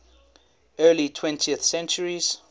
early twentieth centuries